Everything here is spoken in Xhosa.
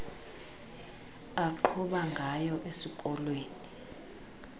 aqhuba ngayo esikolweni